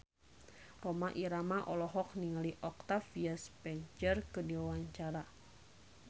Rhoma Irama olohok ningali Octavia Spencer keur diwawancara